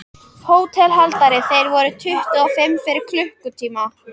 HÓTELHALDARI: Þeir voru tuttugu og fimm fyrir klukkutíma.